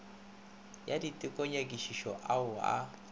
ya diteko nyakišišo ao a